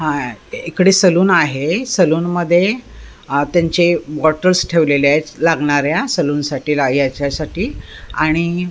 हा इकडे सलून आहे सलून मध्ये अ त्यांचे बॉटल्स ठेवलेले आहेत लागणाऱ्या सलून साठी लाग याच्यासाठी आणि --